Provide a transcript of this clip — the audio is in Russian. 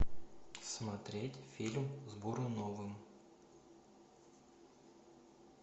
смотреть фильм с буруновым